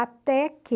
Até que...